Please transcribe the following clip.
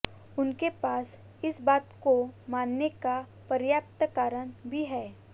उनके पास इस बात को मानने का पर्याप्त कारण भी है